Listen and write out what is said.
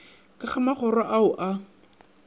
ka go magoro ao a